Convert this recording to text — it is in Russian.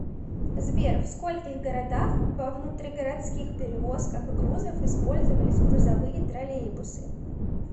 сбер в скольких городах во внутригородских перевозках грузов использовались грузовые троллейбусы